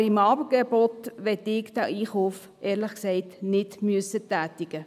Aber den Einkauf für dieses Angebot möchte ich, ehrlich gesagt, nicht tätigen müssen.